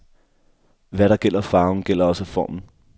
Hvad der gælder farven, gælder også formen.